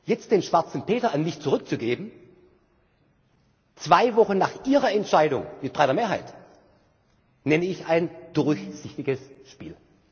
Jetzt den schwarzen Peter an mich zurückzugeben, zwei Wochen nach Ihrer Entscheidung mit breiter Mehrheit, nenne ich ein durchsichtiges Spiel.